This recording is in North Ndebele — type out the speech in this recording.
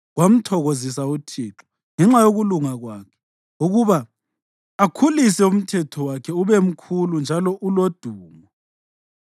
Kwamthokozisa uThixo ngenxa yokulunga kwakhe ukuba akhulise umthetho wakhe ube mkhulu njalo ulodumo.